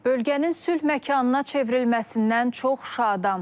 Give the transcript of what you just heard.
Bölgənin sülh məkanına çevrilməsindən çox şadam.